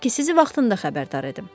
Gəldim ki, sizi vaxtında xəbərdar edim.